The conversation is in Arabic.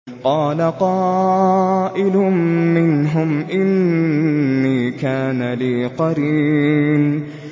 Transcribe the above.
قَالَ قَائِلٌ مِّنْهُمْ إِنِّي كَانَ لِي قَرِينٌ